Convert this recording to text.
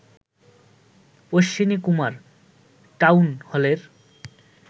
Ashwini Kumar town হলের